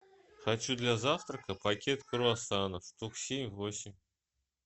хочу для завтрака пакет круассанов штук семь восемь